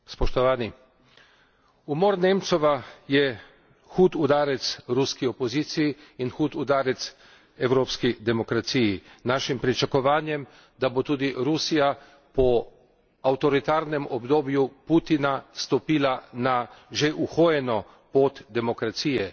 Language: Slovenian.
Umor Nemcova je hud udarec ruski opoziciji in hud udarec evropski demokraciji, našim pričakovanjem, da bo tudi Rusija po avtoritarnem obdobju Putina stopila na že uhojeno pot demokracije.